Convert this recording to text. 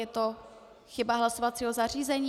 Je to chyba hlasovacího zařízení?